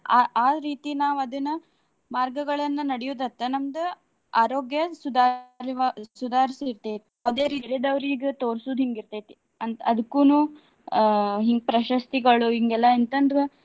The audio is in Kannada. ಆ ಆ ರೀತಿ ನಾವ್ ಅದನ್ನ ಮಾರ್ಗಗಳನ್ನ ನಡಿಯುದತ್ತ ನಮ್ದ ಆರೋಗ್ಯ ಸುಧಾರ~ ಸುಧಾರಿಸುತ್ತೆ. ಅದೇ ರೀತಿ ತಿಳಿದವರ್ ಈಗ ತೋರ್ಸುದ್ ಹಿಂಗ ಇರ್ತೆತಿ. ಅಂತ ಅದ್ಕುನು ಆಹ್ ಹಿಂಗ್ ಪ್ರಶಸ್ತಿಗಳು ಹಿಂಗೆಲ್ಲಾ ಎಂತಂದ್ರ.